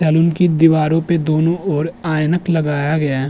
Salon की दीवारों पे दोनों ओर ऐनक लगाया गया है।